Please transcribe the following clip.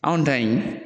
Anw ta in